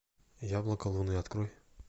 яблоко луны открой